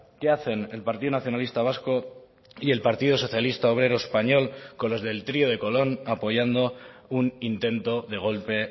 qué hacen el partido nacionalista vasco y el partido socialista obrero español con los del trío de colón apoyando un intento de golpe